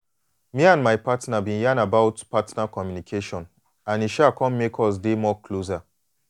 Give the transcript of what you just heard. me and my partner been yan about partner communication and e um come make us us dey more closer.